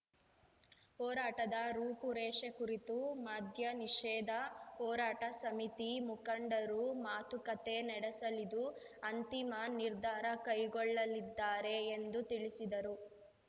ಹೋರಾಟದ ರೂಪುರೇಷೆ ಕುರಿತು ಮದ್ಯ ನಿಷೇಧ ಹೋರಾಟ ಸಮಿತಿ ಮುಖಂಡರು ಮಾತುಕತೆ ನಡೆಸಲಿದ್ದು ಅಂತಿಮ ನಿರ್ಧಾರ ಕೈಗೊಳ್ಳಲಿದ್ದಾರೆ ಎಂದು ತಿಳಿಸಿದರು